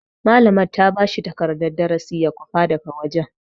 Malaman ta bashi takardan darasi ya kwafa daga wajen.